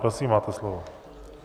Prosím, máte slovo.